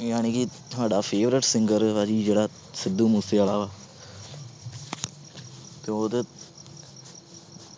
ਜਾਣੀ ਕਿ ਸਾਡਾ favourite singer ਜਿਹੜਾ ਸਿੱਧੂ ਮੂਸਵਾਲਾ ਤੇ ਉਹਦੇ